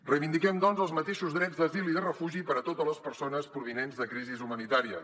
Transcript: reivindiquem doncs els mateixos drets d’asil i de refugi per a totes les persones provinents de crisis humanitàries